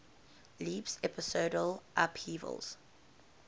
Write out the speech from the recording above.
leaps episodal upheavals